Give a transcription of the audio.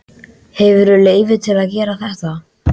Hefurðu leyfi til að gera þetta?